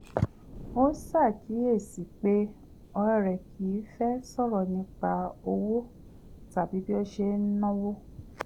ó kíyèsí i pé ọ̀rẹ́ rẹ̀ kì í fẹ́ sọ̀rọ̀ nípa owó tàbí bí ó ṣe ń náwó